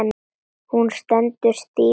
Hún stendur stíf og starir.